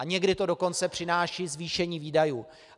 A někdy to dokonce přináší zvýšení výdajů.